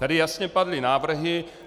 Tady jasně padly návrhy.